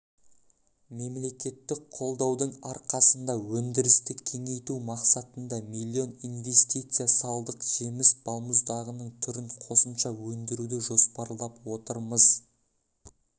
мемлекеттік қолдаудың арқасында өндірісті кеңейту мақсатында млн инвестиция салдық жеміс балмұздағының түрін қосымша өндіруді жоспарлап отырмыз